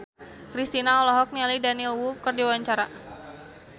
Kristina olohok ningali Daniel Wu keur diwawancara